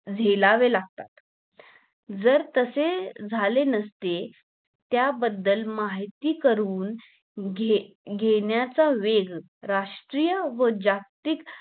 झेलावे लागतात जर तसे झाले नसते त्या बद्दल माहिती करून घे घेण्याचा वेग राष्ट्रीय व जागतिक